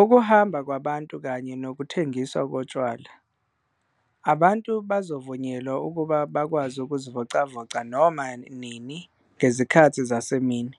Ukuhamba kwabantu kanye nokuthengiswa kotshwala. Abantu bazovunyelwa ukuba bakwazi ukuzivocavoca noma nini ngezikhathi zasemini,